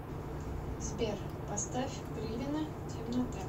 сбер поставь гривина темнота